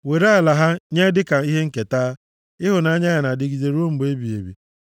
Were ala ha nye dịka ihe nketa, Ịhụnanya ya na-adịgide ruo mgbe ebighị ebi.